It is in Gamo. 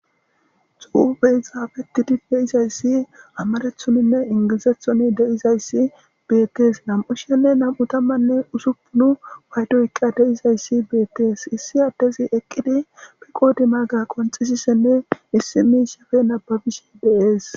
Xufen xafetidi de'izaysi amaratonine ingilzaton de'zaysi betes nam'u sha'ane nam'u tamane usupun paydo oykidi de'zaysi betes issi adezi eqidi qodimaga qonc'sizane simidaysata nababishe dees.